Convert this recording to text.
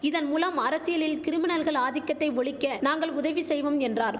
இதன் மூலம் அரசியலில் கிரிமினல்கள் ஆதிக்கத்தை ஒழிக்க நாங்கள் உதவி செய்வோம் என்றார்